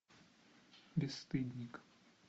бесстыдник